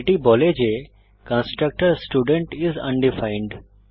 এটি বলে যে কনস্ট্রাক্টর স্টুডেন্ট আইএস আনডিফাইন্ড